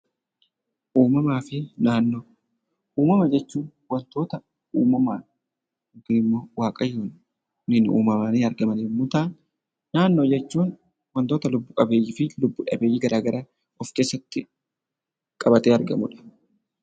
Uumamaa fi naannoo Uumama jechuun waantota uumamaan yookiin waaqayyoon uumamanii argaman yemmuu ta'an, naannoo jechuun waantota lubbu qabeeyyii fi lubbu dhabeeyyii of keessatti qabatee argamuudha.